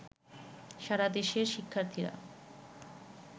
সারা দেশের শিক্ষার্থীরা